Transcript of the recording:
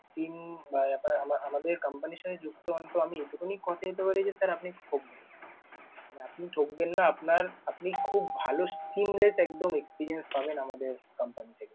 SIM আহ আহ আমাদের company র সাথে যুক্ত হন তো আমি এইটুকুনি কথা দিতে পারি যে, sir আপনি ঠকবেন না। মানে আপনি ঠকবেন না, আপনার আপনি খুব ভালও seemless একদম experience পাবেন আমাদের company থেকে।